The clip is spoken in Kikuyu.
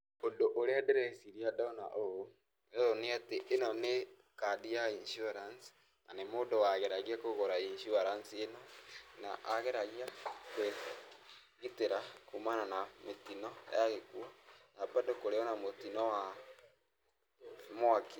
Ũndũ ũrĩa ndĩreciria ndona ũũ, ũyũ nĩ atĩ, ĩno nĩ kandi ya insurance, na nĩ mũndũ wageragia kũgũra insurance ĩno, na ageragia kwĩgĩtĩra kuumana na mĩtino ya gĩkuo, na bado kũrĩ o na mũtino wa mwaki.